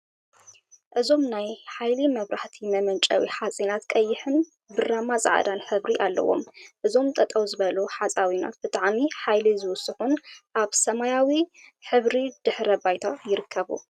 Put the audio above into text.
እዞም ናይ ሓይሊ መብራህቲ መመንጨዊ ሓፂናት ቀይሕን ብራማ ፃዕዳ ሕብሪን አለዎም። እዞም ጠጠው ዝበሉ ሓፃዊናት ብጣዕሚ ሓይሊ ዝውስኩን አብ ሰማያዊ ሕብሪ ድሕረ ባይታ ይርከቡ።